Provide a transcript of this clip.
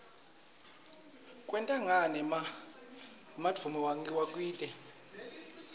kwente kani emlanduuemi waklte